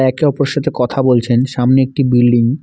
একে অপরের সাথে কথা বলছেন সামনে একটি বিল্ডিং ।